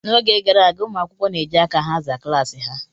N'oge gara aga, ụmụ akwụkwọ na-eji aka ha aza klaasị ha